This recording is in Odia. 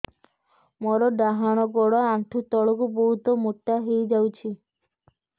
ମୋର ଡାହାଣ ଗୋଡ଼ ଆଣ୍ଠୁ ତଳକୁ ବହୁତ ମୋଟା ହେଇଯାଉଛି